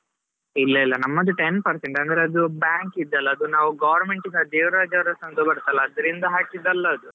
ಇಲ್ಲಾ ಇಲ್ಲಾ ನಮ್ಮದು ten percent ಅಂದ್ರೆ ಅದು bank ಇದ್ದಲ್ಲ ಅದು ನಾವು government ಇಂದ ದೇವರಾಜ್ ಅರಸ್ ಅಂತಾ ಬರ್ತದಲ್ಲ, ಅದರಿಂದ ಹಾಕಿದ್ದಲ್ಲಾ ಅದು.